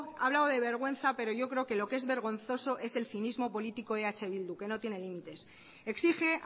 ha hablado de vergüenza pero yo creo que lo que es vergonzoso es el cinismo político de eh bildu que no tiene limites exige